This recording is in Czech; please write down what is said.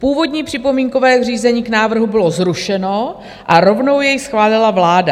Původní připomínkové řízení k návrhu bylo zrušeno a rovnou jej schválila vláda.